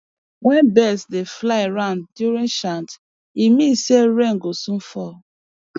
when birds dey fly round during chant e mean say rain go soon fall